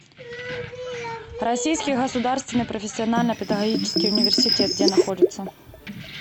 российский государственный профессионально педагогический университет где находится